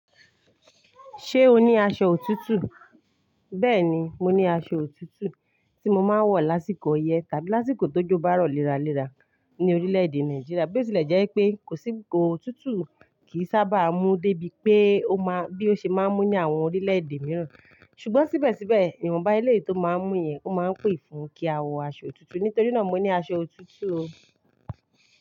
Ṣé o ní aṣọ òtútù? Bẹ́ẹ̀ni, mo ní aṣọ òtútù tí mo máa ń wọ̀ lásìkò ọyẹ́ tàbí lásìkò tó jó bárò léraléra ní orílẹ̀ èdè Nàìjíríà bí ó tilẹ̀ jẹ́ pé kò sí òtútù kì í sábà mú débi pé ó máa bí ó ṣe máa ń mú ní àwọn orílẹ̀ èdè mìíràn. Ṣùgbọ́n síbẹ̀síbẹ̀, iwonbá eléèyi to máa ń mú yẹn, ó máa ń pè fún kí a wọ aṣọ òtútù. Nítorí náà mo ní aṣọ òtútù o.